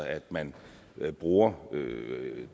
at man bruger